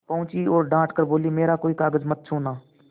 पहुँची और डॉँट कर बोलीमेरा कोई कागज मत छूना